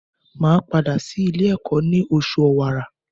Màá padà sí Ilé ẹ̀kọ́ ní osù Òwàrà